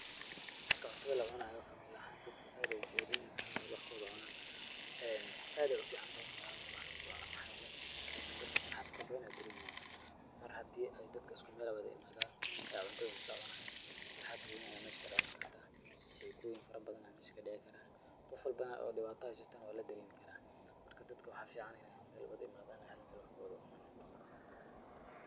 Marka cuntada la wad cunaayo family ahaan dadka aad ayaay ujeclihiin in ay hal meel wax ku wad cunaan. Aad ayaay u ficaantahay in ay hal meel wax lugu wada cuno, maxaa yeelay dadka farxad farabadan ayaay dareemayaan. Mar hadii ay dadka usku meel wada i maadan ay cuntada is la cunaan, farxad gooni ah ayaa meesha ka dhalankartaa, sheekoyin farabadan ayaa meesha ka dhici karaa, qof walbana oo dhiba haysatana waa la dhareemi karaa. Marka dadka waxaa ficaan in meel wada i maadaan ay hal meel wax ku wada cunaan.